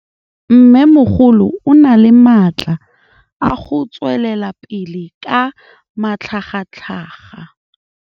Mmêmogolo o na le matla a go tswelela pele ka matlhagatlhaga.